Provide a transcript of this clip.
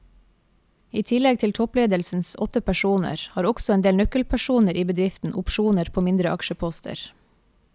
I tillegg til toppledelsens åtte personer har også en del nøkkelpersoner i bedriften opsjoner på mindre aksjeposter.